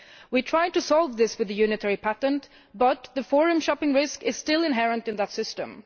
We tried to solve this with the unitary patent, but the forum shopping risk is still inherent in that system.